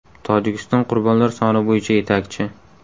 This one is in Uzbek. Tojikiston qurbonlar soni bo‘yicha yetakchi.